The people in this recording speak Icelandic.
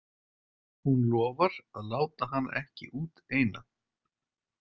Hún lofar að láta hana ekki út eina.